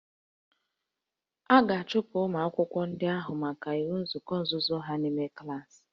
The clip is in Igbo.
A ga-achụpụ ụmụ akwụkwọ ndị ahụ maka inwe nzukọ nzuzo ha n'ime klaasị